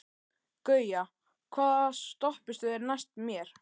Gauja, hvaða stoppistöð er næst mér?